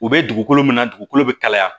U bɛ dugukolo min na dugukolo bɛ kalaya